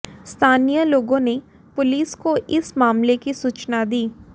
स्थानीय लोगों ने पुलिस को इस मामले की सूचना दी